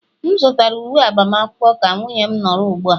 M zụtara uwe agbamakwụkwọ ka nwunye m nọrọ ugbua